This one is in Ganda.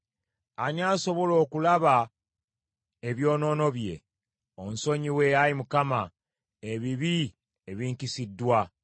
Ani asobola okulaba ebyonoono bye? Onsonyiwe, Ayi Mukama , ebibi ebinkisiddwa.